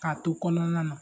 K'a to kɔnɔna na